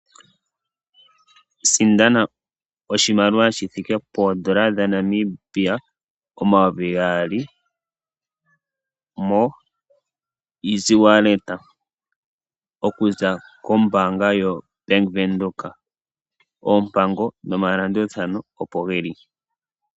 Sindana oshimaliwa shi thike poondola dhaNamibia omayoovi gaali shoko kongodhi oku za kombanga yaBank Windhoek. oompango nomalandulathano opo geli.